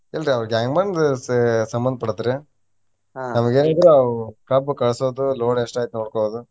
ಇಲ್ರಿ ಅವ್ರ್ gang man ಗ ಸ~ ಸಂಬಂದ ಪಡುತ್ರಿ. ಏನಿದ್ರು ಆ ಕಬ್ಬ್ ಕಳ್ಸೊದು load ಎಷ್ಟಾಯ್ತು ನೋಡ್ಕೊಳ್ಳೊದು.